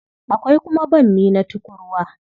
Akwai kuma bammi na tukurwa.